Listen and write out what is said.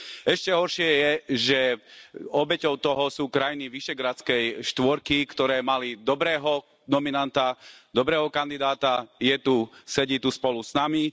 Ešte horšie je, že obeťou toho sú krajiny Vyšehradskej štvorky, ktoré mali dobrého nominanta, dobrého kandidáta, je tu, sedí tu spolu s nami.